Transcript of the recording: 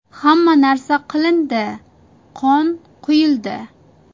Hamma narsa qilindi, qon quyildi.